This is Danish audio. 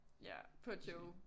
Ja på Joe